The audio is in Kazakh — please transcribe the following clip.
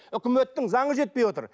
өкіметтің заңы жетпей отыр